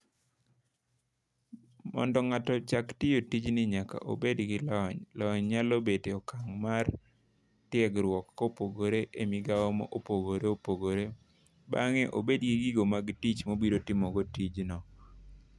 Mondo ng'ato ochak tiyo tijni nyaka obed gi lony. Lony nyalo bedo e okang' mar tiegruok kopogore e migao ma opogore opogore. Bang'e obed gi gi gigo mag tich mobiro timogo tijno.